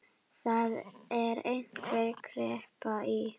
Það er einhver kreppa í